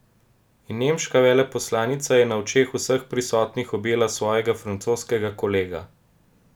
In nemška veleposlanica je na očeh vseh prisotnih objela svojega francoskega kolega.